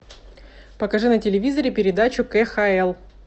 покажи на телевизоре передачу кхл